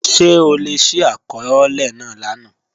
Ṣe o le ṣi akọọlẹ naa lana?